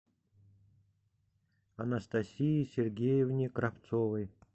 анастасии сергеевне кравцовой